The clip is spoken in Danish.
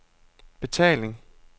betaling